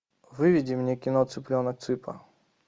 выведи мне кино цыпленок цыпа